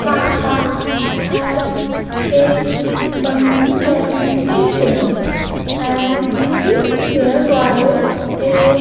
khakha and a bandhan Bank A_T_M and its nearby a --